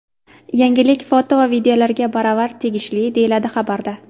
Yangilik foto va videolarga baravar tegishli, deyiladi xabarda.